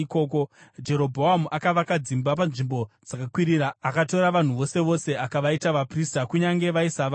Jerobhoamu akavaka dzimba panzvimbo dzakakwirira akatora vanhu vose vose akavaita vaprista, kunyange vaisava vaRevhi.